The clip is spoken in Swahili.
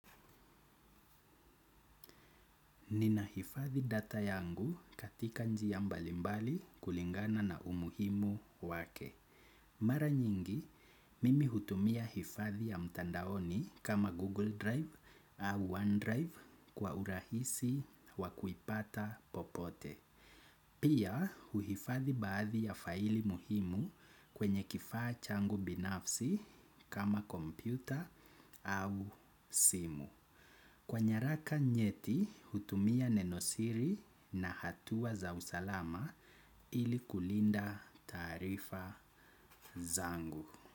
Nina hifadhi data yangu katika njia mbalimbali kulingana na umuhimu wake. Mara nyingi, mimi hutumia hifadhi ya mtandaoni kama Google Drive au OneDrive kwa urahisi wakuipata popote. Pia, uhifadhi baadhi ya faili muhimu kwenye kifaa changu binafsi kama kompyuta au simu. Kwa nyaraka nyeti, hutumia nenosiri na hatua za usalama ili kulinda taarifa zangu.